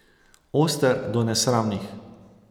Oster do nesramnih.